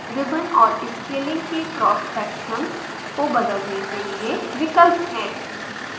ribbon और scaling के cross section अनुप्रस्थ काट को बदलने के लिए विकल्प हैं